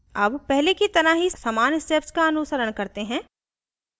अब पहले की तरह ही समान steps का अनुसरण करते हैं